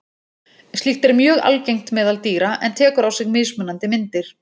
Slíkt er mjög algengt meðal dýra en tekur á sig mismunandi myndir.